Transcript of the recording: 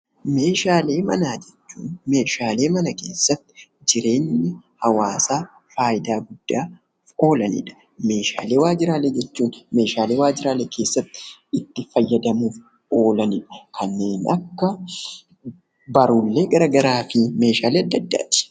Meeshaalee Manaa jechuun meeshaalee mana keessatti jireenya hawaasaa faayidaa guddaaf oolanidha. Meeshaalee Waajjiraalee jechuun meeshaalee waajjiralee keessatti itti fayyadamuuf oolanidha. Kannneen akka Barruulee garagaraafi meeshaalee adda addaati.